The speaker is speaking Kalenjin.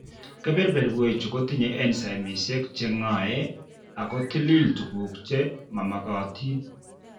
Kebeberwechu kotinye enzaimishek che ng'ae ako tilil tukuk che makomagatin.